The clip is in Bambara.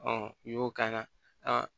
n'i y'o k'a la